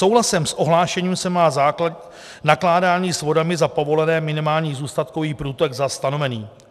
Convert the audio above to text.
Souhlasem s ohlášením se má nakládání s vodami za povolené, minimální zůstatkový průtok za stanovený.